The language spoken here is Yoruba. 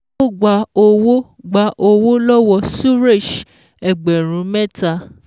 Ó gba owó gba owó lọ́wọ́ Suresh ẹgbẹ̀rún mẹ́ta